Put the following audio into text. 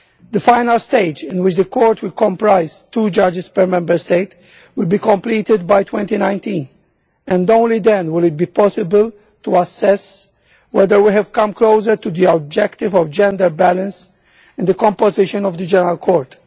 The final stage, in which the Court will comprise two judges per Member State, will be completed by 2019 and only then will it be possible to assess whether we have come closer to the objective of gender balance in the composition of the General Court.